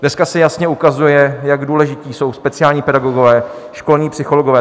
Dneska se jasně ukazuje, jak důležití jsou speciální pedagogové, školní psychologové.